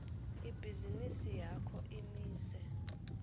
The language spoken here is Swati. ibhizinisi yakho imise